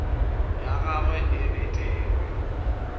ya gagwe e be there